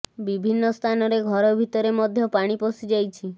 ବିଭିନ୍ନ ସ୍ଥାନରେ ଘର ଭିତରେ ମଧ୍ୟ ପାଣି ପଶି ଯାଇଛି